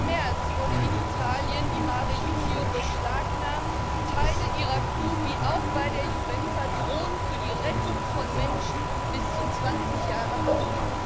19. März wurde in Italien die Mare Jonio beschlagnahmt, Teilen ihrer Crew wie auch bei der Iuventa drohen für die Rettung von Menschen bis zu zwanzig Jahre Haft.